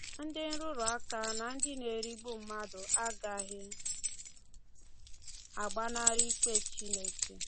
Ndị nrụrụ aka na ndị na-erigbu mmadụ agaghị agbanarị ikpe Chineke.